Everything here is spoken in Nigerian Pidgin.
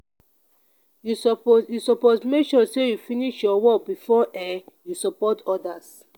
you suppose you suppose make sure sey you finish your work before um you support odas.